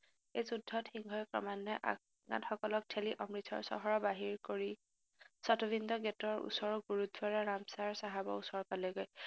এই যুদ্ধত সিংহই ক্ৰমান্নয়ে আফগানসকলক ঠেলি অমৃতচৰ চহৰ বাহিৰ কৰি চাতবিন্দ গেটৰ ওচৰৰ গুৰুদ্বাৰা ৰামচাৰ চাহাবৰ ওচৰ পালেগৈ